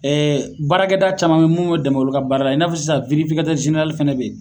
baarakɛda caman minnu m'o dɛmɛ olu ka baara la i n'a fɔ sisan fɛnɛ bɛ yen